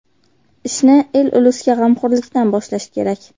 Ishni el-ulusga g‘amxo‘rlikdan boshlash kerak”.